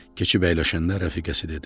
Keçib əyləşəndə rəfiqəsi dedi: